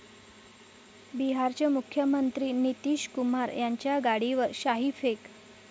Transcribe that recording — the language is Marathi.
बिहारचे मुख्यमंत्री नितीश कुमार यांच्या गाडीवर शाईफेक